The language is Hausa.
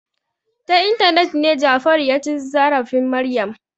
Ta intanet ne Jafaru ya ci zarafin Maryam.